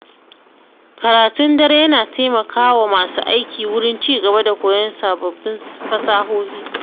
Karatun dare yana taimakawa masu aiki wurin ci gaba da koyon sababbin fasahohi.